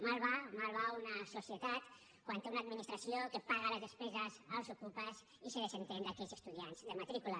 malament va malament va una societat quan té una administració que paga les despeses als okupes i se desentén d’aquells estudiants de matrícula